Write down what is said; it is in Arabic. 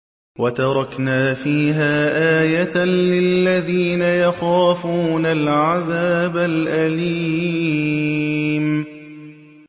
وَتَرَكْنَا فِيهَا آيَةً لِّلَّذِينَ يَخَافُونَ الْعَذَابَ الْأَلِيمَ